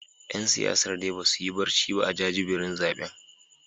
’Yan siyasar dai ba su yi barci ba a jajibirin zaben